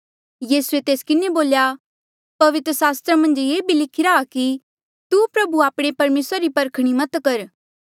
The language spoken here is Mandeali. यीसूए तेस किन्हें बोल्या पवित्र सास्त्र मन्झ ये भी लिखिरा आ कि तू प्रभु आपणे परमेसरा री परखणी मत कर